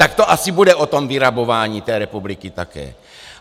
Tak to asi bude o tom vyrabování té republiky také.